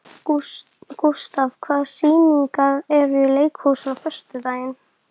Gustav, hvaða sýningar eru í leikhúsinu á föstudaginn?